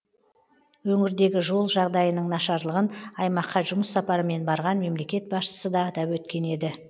өңірдегі жол жағдайының нашарлығын аймаққа жұмыс сапарымен барған мемлекет басшысы да атап өткен еді